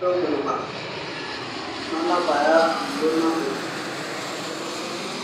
wekulibaro nanap Aya auluo napej